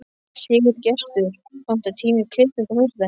Sigurgestur, pantaðu tíma í klippingu á fimmtudaginn.